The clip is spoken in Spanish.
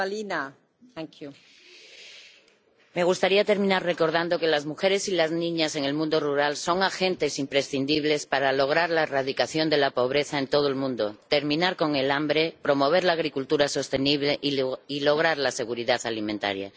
Señora presidenta, me gustaría terminar recordando que las mujeres y las niñas en el mundo rural son agentes imprescindibles para lograr la erradicación de la pobreza en todo el mundo, terminar con el hambre, promover la agricultura sostenible y lograr la seguridad alimentaria.